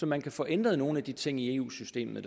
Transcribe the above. man kan få ændret nogle af de ting i eu systemet